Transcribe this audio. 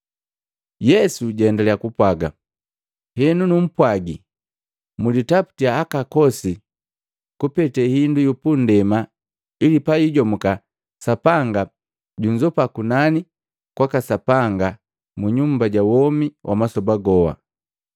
Yesu jaendaliya kupwaga, “Henu numpwagi, mlintaputiya aka akosi kupete hindu yu pundema ili payijomuka, Sapanga junzopa kunani kwaka Sapanga mu nyumba ja womi wa masoba goha.